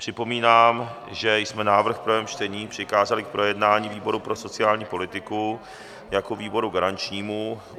Připomínám, že jsme návrh v prvém čtení přikázali k projednání výboru pro sociální politiku jako výboru garančnímu.